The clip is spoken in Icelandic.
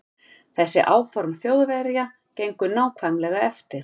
Þessi áform Þjóðverja gengu nákvæmlega eftir.